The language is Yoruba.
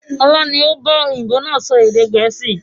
Ọlá ni ó ba òyìnbó náà sọ èdè gẹ̀ẹ́sì